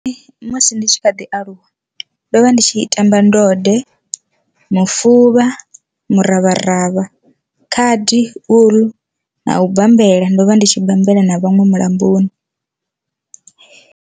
Musi ndi tshi kha ḓi aluwa ndo vha ndi tshi tamba ndode, mufuvha, miravharavha, khadi, uḽu na u bambela ndo vha ndi tshi bammbela na vhaṅwe mulamboni.